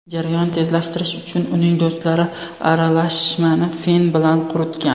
Jarayonni tezlashtirish uchun uning do‘stlari aralashmani fen bilan quritgan.